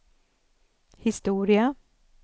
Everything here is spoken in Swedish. historia